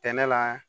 Tɛnɛ la